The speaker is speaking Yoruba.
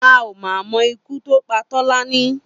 A ò mà mo̩ ikú tó pa Tó̩lání